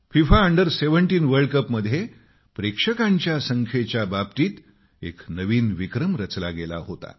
FIFA under seventeen world कपमध्ये प्रेक्षकांच्या संख्येच्या बाबतीत एक नवीन विक्रम रचला गेला होता